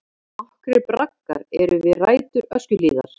Nokkrir braggar eru við rætur Öskjuhlíðar.